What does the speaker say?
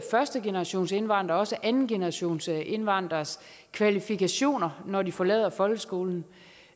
førstegenerationsindvandreres og andengenerationsindvandreres kvalifikationer når de forlader folkeskolen